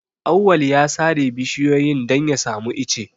Auwal ya sare bishiyoyin don ya samu ice.